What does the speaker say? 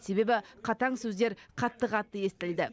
себебі қатаң сөздер қатты қатты естілді